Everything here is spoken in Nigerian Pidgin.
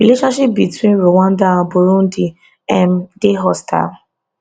relationship between rwanda and burundi um dey hostile